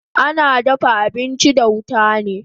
Ana dafa abinchi da wuta ne